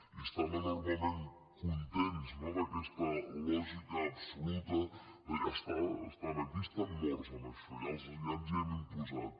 i estan enormement contents no d’aquesta lògica absoluta deia estan aquí estan morts en això ja ens hi hem imposat